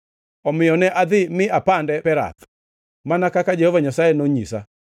Omiyo ne adhi mi apande Perath, mana kaka Jehova Nyasaye nonyisa.